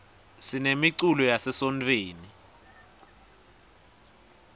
sinemiculo yase sontfweni